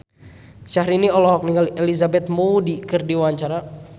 Syahrini olohok ningali Elizabeth Moody keur diwawancara